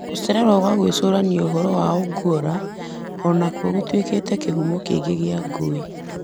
Gũcererwo kwa gwĩcũrania ũhoro wa Ongwora o nakuo gũtuĩkĩte kĩhumo kĩngĩ kĩa ngũĩ.